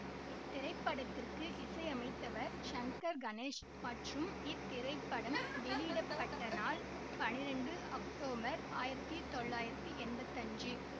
இத்திரைப்படத்திற்கு இசையமைத்தவர் சங்கர் கணேஷ் மற்றும் இத்திரைப்படம் வெளியிட பட்ட நாள் பனிரெண்டு அக்டோபர் ஆயிரத்தி தொள்ளாயிரத்தி எம்பத்தி அஞ்சு